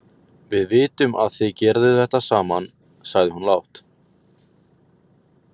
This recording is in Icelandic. Við vitum að þið gerðuð þetta saman, sagði hún lágt.